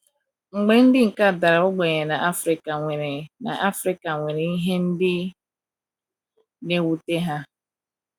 Mba ndị ka dara ogbenye na Afrika nwere na Afrika nwere ihe ndị na - ewute ha.